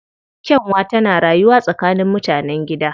Kyanwa tana rayuwa tsakanin mutanen gida